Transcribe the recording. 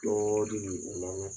o lamɛn